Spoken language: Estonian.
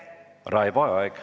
Raivo Aeg.